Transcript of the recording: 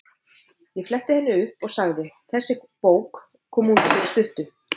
Ég fletti upp í henni og sagði: Þessi bók kom út fyrir stuttu.